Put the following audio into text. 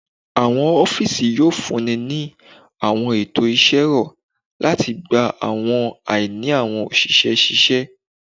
Awọn ọfiisi yoo funni ni awọn eto iṣẹ rọ lati gba awọn aini awọn oṣiṣẹ ṣiṣẹ.